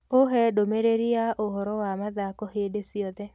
uhe ndumĩriri ya ũhoro wa mathako hindi cĩothe